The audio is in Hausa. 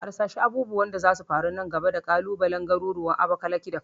Harsashi abubuwan da zasu faru nan gaba da kalubalen garuruwan Abakalaki da Kano